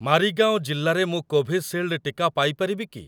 ମାରିଗାଓଁ ଜିଲ୍ଲାରେ ମୁଁ କୋଭିସିଲ୍ଡ ଟିକା ପାଇ ପାରିବି କି?